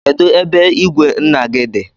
Kedụ ebe ìgwè nna gị dị?